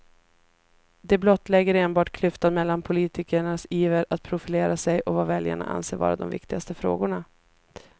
Det blottlägger enbart klyftan mellan politikernas iver att profilera sig och vad väljarna anser vara de viktigaste frågorna.